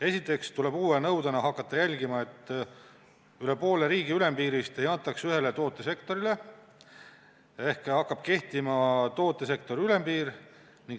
Esiteks tuleb uue nõudena hakata jälgima, et üle poole riigi ülempiirist ei antaks ühele tootesektorile, ehk hakkab kehtima tootesektori ülempiir.